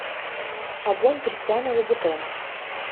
огонь кристиана лубутена